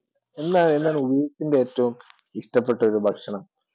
എന്താണ് നിൻ്റെ ഒരു ഇഷ്ടപ്പെട്ട ഒരു ഭക്ഷണം?